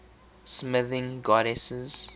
smithing goddesses